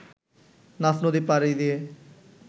নাফ নদী পাড়ি দিয়ে